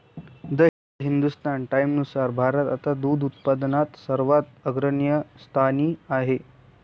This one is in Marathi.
द हिंदुस्तान टाईम्सनुसार भारत आता दूध उत्पादनात सर्वात अग्रगण्य स्थानी आहे.